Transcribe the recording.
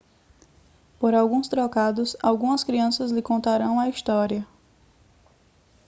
por alguns trocados algumas crianças lhe contarão a história